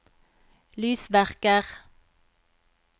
lysverker